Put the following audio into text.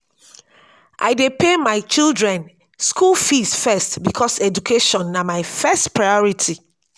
i dey pay my children skool fees first because education na my first priority.